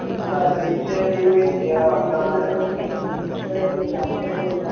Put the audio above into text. പിന്നെന്താ പരീക്ഷ ലീവ് കഴിഞ്ഞ് ലീവായിട്ട് യാത്രയൊന്നും പോയില്ല